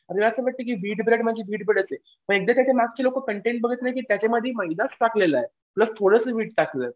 आणि असं की म्हणजे त्याच्या मागची लोकं कंटेन बघत नाहीत की त्याच्यामध्ये मैदाच टाकलेला आहे. प्लस थोडंसं व्हीट टाकलं.